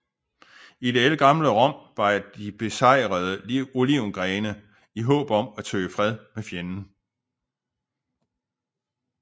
I det ældgamle Rom bar de besejrede olivengrene i håb om at søge fred med fjenden